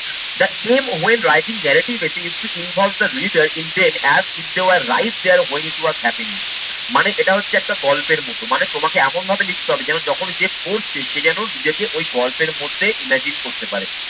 that came when writing narrative essay used to involve the reader in then rise there when it was happening মানে এটা হচ্ছে একটা গল্পের মতো মানে তোমাকে এমন ভাবে লিখতে হবে যেন যখন যে পড়ছে সে যেন নিজেকে ওই গল্পের মধ্যে imagine করতে পারে।